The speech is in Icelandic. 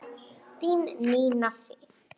Þín Nína Sif.